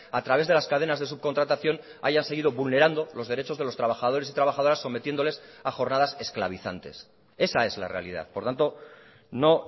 a través de las cadenas de subcontratación haya seguido vulnerando los derechos de los trabajadores y trabajadoras sometiéndoles a jornadas esclavizantes esa es la realidad por tanto no